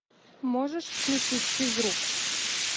можешь включить физрук